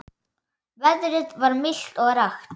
Veðrið var milt og rakt.